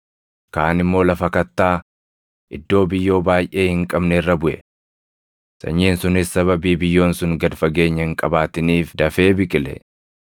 Kaan immoo lafa kattaa, iddoo biyyoo baayʼee hin qabne irra buʼe. Sanyiin sunis sababii biyyoon sun gad fageenya hin qabaatiniif dafee biqile.